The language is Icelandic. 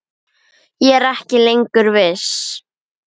Ég er ekki lengur viss.